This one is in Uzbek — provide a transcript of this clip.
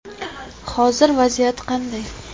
Hozir vaziyat qanday?